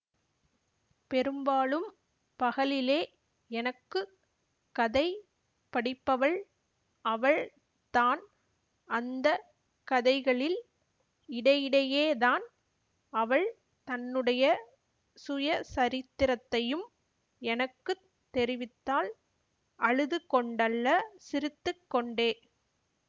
பெரும்பாலும் பகலிலே எனக்கு கதை படிப்பவள் அவள் தான் அந்த கதைகளில் இடையிடையேதான் அவள் தன்னுடைய சுயசரித்திரத்தையும் எனக்கு தெரிவித்தாள் அழுது கொண்டல்ல சிரித்து கொண்டே